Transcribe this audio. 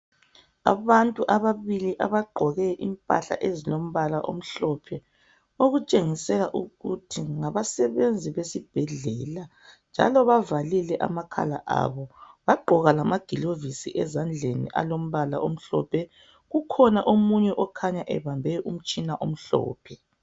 Abantu ababili abagqoke impahla ezilombala omhlophe, okutshengisela ukuthi ngabasebenzi besibhedlela, njalo bavalile amakhala abo, bagqoka lamaglovisi ezandleni alombala omhlophe, kukhona omunye okhanya ebambe umtshina omhlophe.